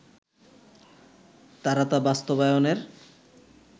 তারা তা বাস্তবায়নের